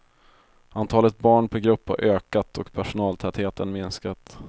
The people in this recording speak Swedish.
Antalet barn per grupp har ökat och personaltätheten minskat.